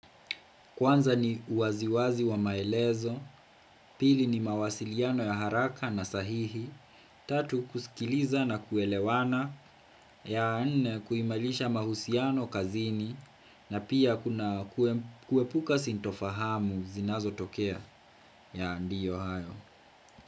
Kwanza ni uwaziwazi wa maelezo, pili ni mawasiliano ya haraka na sahihi, tatu kusikiliza na kuelewana, ya nne kuimarisha mahusiano kazini, na pia kuepuka sitofahamu zinazo tokea ya ndiyo hayo.